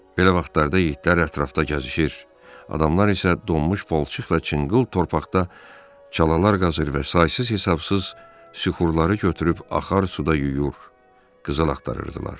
Belə vaxtlarda yitlər ətrafda gəzişir, adamlar isə donmuş palçıq və çınqıl torpaqda çalalar qazır və saysız-hesabsız süxurları götürüb axar suda yuyur, qızıl axtarırdılar.